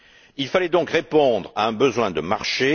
Il fallait donc répondre à un besoin de marché.